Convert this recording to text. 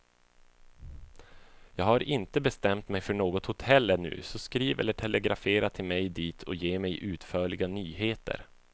Jag har inte bestämt mig för något hotell ännu, så skriv eller telegrafera till mig dit och ge mig utförliga nyheter.